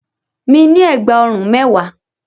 Mi ní ẹ̀gbà ọrùn mẹ́wàá.